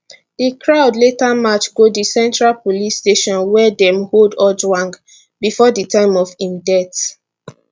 di crowd later march go di central police station wia dem hold ojwang bifor di time of im death